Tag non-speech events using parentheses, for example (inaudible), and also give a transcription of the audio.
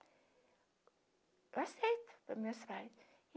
Eu aceito, foi (unintelligible)